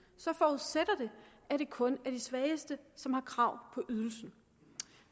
så forudsætter det at det kun er de svageste som har krav på ydelsen